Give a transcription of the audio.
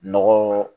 Nɔgɔ